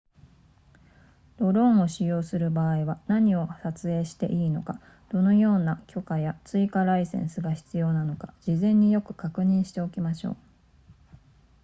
ドローンを使用する場合は何を撮影していいのかどのような許可や追加ライセンスが必要なのか事前によく確認しておきましょう